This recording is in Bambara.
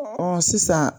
Ɔ sisan